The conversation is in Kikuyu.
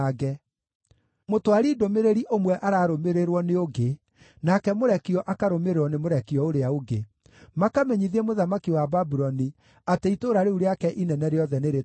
Mũtwari ndũmĩrĩri ũmwe ararũmĩrĩrwo nĩ ũngĩ, nake mũrekio akarũmĩrĩrwo nĩ mũrekio ũrĩa ũngĩ, makamenyithie mũthamaki wa Babuloni atĩ itũũra rĩu rĩake inene rĩothe nĩrĩtunyane,